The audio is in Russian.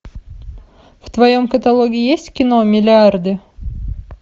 в твоем каталоге есть кино миллиарды